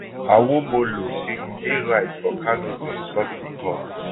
awomolo say e dey right for kanu to insult di court